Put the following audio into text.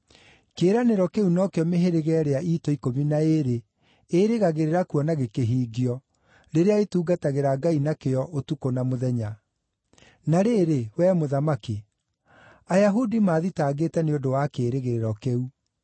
Kĩĩranĩro kĩu no kĩo mĩhĩrĩga ĩrĩa iitũ ikũmi na ĩĩrĩ ĩĩrĩgagĩrĩra kuona gĩkĩhingio, rĩrĩa ĩtungatagĩra Ngai na kĩyo ũtukũ na mũthenya. Na rĩrĩ, wee Mũthamaki, Ayahudi maathitangĩte nĩ ũndũ wa kĩĩrĩgĩrĩro kĩu.